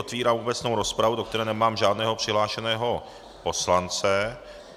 Otevírám obecnou rozpravu, do které nemám žádného přihlášeného poslance.